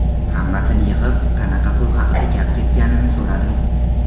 Hammasini yig‘ib, qanaqa pul haqida gap ketganini so‘radim.